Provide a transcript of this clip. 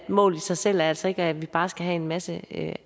målet i sig selv er altså ikke at vi bare skal have en masse